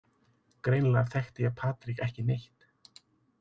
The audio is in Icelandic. Greinilega þekkti ég Patrik ekki neitt.